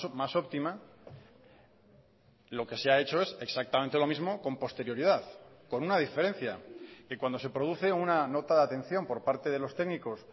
más óptima lo que se ha hecho es exactamente lo mismo con posterioridad con una diferencia y cuando se produce una nota de atención por parte de los técnicos